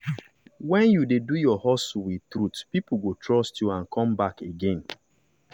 when you dey do your hustle with truth people go trust you and come back again.